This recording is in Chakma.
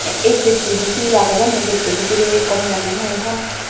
ey gettodi he age jani getto bidire gome dale noyo hon.